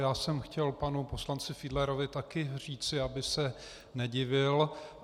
Já jsem chtěl panu poslanci Fiedlerovi také říci, aby se nedivil.